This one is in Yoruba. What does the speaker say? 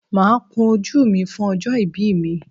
Máa kun ojú mi fún ọjọ́ ìbí mi.